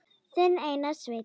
Þinn Einar Sveinn.